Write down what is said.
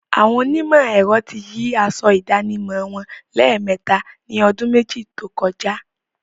Àwọn onímọ̀ ẹ̀rọ ti yí aṣọ ìdánimọ̀ wọn lẹ́mẹ̀ẹta ni ọdún méjì tókọjá.